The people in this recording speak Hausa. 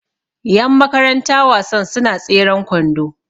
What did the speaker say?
Yanmakaranta wasan suna tseren kwando